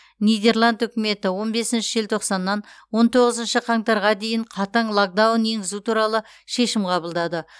нидерланд үкіметі он бесінші желтоқсаннан он тоғызыншы қаңтарға дейін қатаң локдаун енгізу туралы шешім қабылдады